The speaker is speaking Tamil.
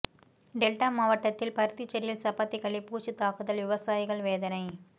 டெல்டா மாவட்டத்தில் பருத்தி செடியில் சப்பாத்தி கள்ளி பூச்சி தாக்குதல் விவசாயிகள் வேதனை